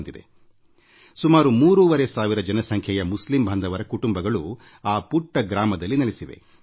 ಈ ಪುಟ್ಟ ಹಳ್ಳಿಯಲ್ಲಿ ಸುಮಾರು ಮೂರುವರೆ ಸಾವಿರದಷ್ಟು ಜನಸಂಖ್ಯೆಯ ಮುಸ್ಲಿಂ ಬಾಂಧವರ ಕುಟುಂಬಗಳು ಇಲ್ಲಿ ವಾಸಿಸುತ್ತಿವೆ